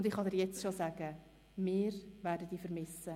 und ich kann dir jetzt schon sagen: Wir werden dich vermissen.